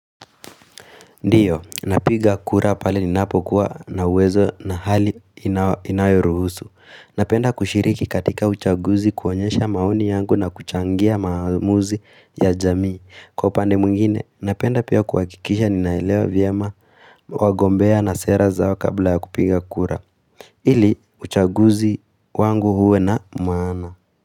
Ndiyo, napiga kura pale ninapo kuwa na uwezo na hali inayo ruhusu. Napenda kushiriki katika uchaguzi kuonyesha maoni yangu na kuchangia maamuzi ya jamii. Kwa upande mwingine, napenda pia kuhakikisha ninaelewa vyema wagombea na sera zao kabla ya kupiga kura. Ili, uchaguzi wangu huwe na maana.